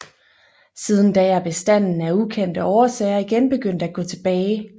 Siden da er bestanden af ukendte årsager igen begyndt at gå tilbage